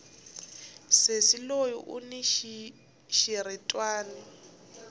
sesi loyi uni xiritwani